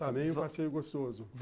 passeio gostoso.